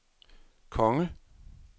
konge